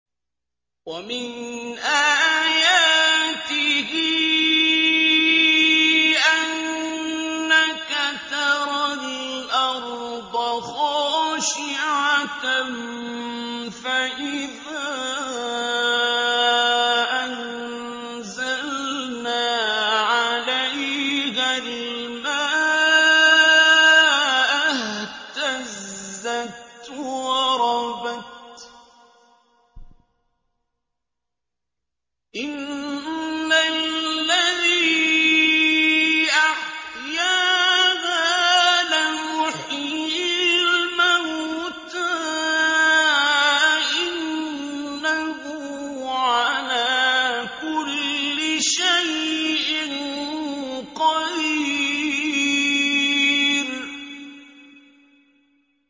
وَمِنْ آيَاتِهِ أَنَّكَ تَرَى الْأَرْضَ خَاشِعَةً فَإِذَا أَنزَلْنَا عَلَيْهَا الْمَاءَ اهْتَزَّتْ وَرَبَتْ ۚ إِنَّ الَّذِي أَحْيَاهَا لَمُحْيِي الْمَوْتَىٰ ۚ إِنَّهُ عَلَىٰ كُلِّ شَيْءٍ قَدِيرٌ